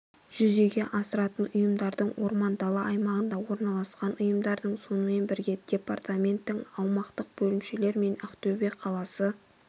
жүзеге асыратын ұйымдардың орман дала аймағында орналасқан ұйымдардың сонымен бірге департаменттің аумақтық бөлімшелерімен ақтөбе қаласы